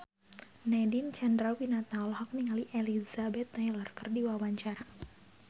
Nadine Chandrawinata olohok ningali Elizabeth Taylor keur diwawancara